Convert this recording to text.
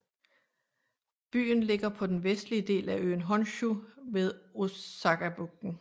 Byen ligger på den vestlige del af øen Honshu ved Osakabugten